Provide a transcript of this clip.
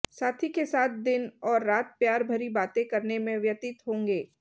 साथी के साथ दिन और रात प्यार भरी बातें करने में व्यतित होंगे